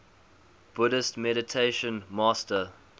buddhist meditation master